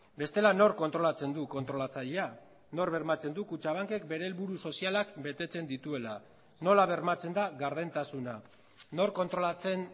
bestela nork kontrolatzen du kontrolatzailea nork bermatzen du kutxabankek bere helburu sozialak betetzen dituela nola bermatzen da gardentasuna nork kontrolatzen